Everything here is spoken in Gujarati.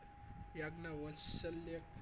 યજ્ઞ વાત્સલ્ય